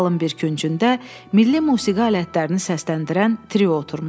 Zalın bir küncündə milli musiqi alətlərini səsləndirən trio oturmuşdu.